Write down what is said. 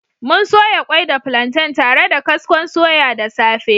Mun soya kwai da plantain tare da kaskon soya da safe